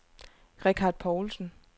Richard Paulsen